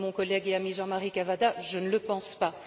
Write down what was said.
Comme mon collègue et ami, Jean Marie Cavada, je ne le pense pas.